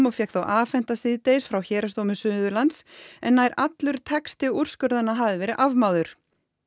og fékk þá afhenta síðdegis frá Héraðsdómi Suðurlands en nær allur texti úrskurðanna hafði verið afmáður